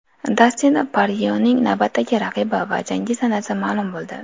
Dastin Poryening navbatdagi raqibi va jangi sanasi ma’lum bo‘ldi.